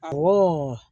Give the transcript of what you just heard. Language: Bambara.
Awɔ